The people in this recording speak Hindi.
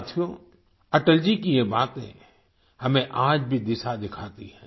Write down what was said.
साथियों अटल जी की ये बातें हमें आज भी दिशा दिखाती हैं